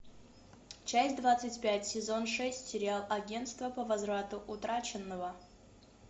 часть двадцать пять сезон шесть сериал агентство по возврату утраченного